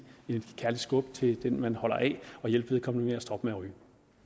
et kærligt skub til den man holder af og hjælpe vedkommende med at stoppe